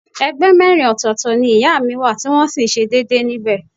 Ẹgbẹ́ mẹ́rin ọ̀tọ̀ọ̀tọ̀ ni ìyá mi wà tí wọ́n sì ń ṣe déédéé níbẹ̀